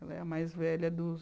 Ela é a mais velha dos